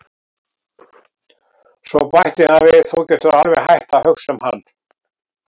Svo bætti hann við: Þú getur alveg hætt að hugsa um hann